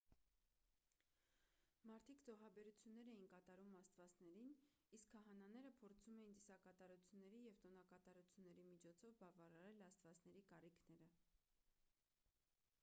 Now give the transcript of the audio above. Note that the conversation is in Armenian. մարդիկ զոհաբերություններ էին կատարում աստվածներին իսկ քահանաները փորձում էին ծիսակատարությունների և տոնակատարությունների միջոցով բավարարել աստվածների կարիքները